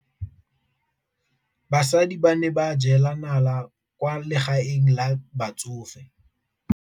Basadi ba ne ba jela nala kwaa legaeng la batsofe.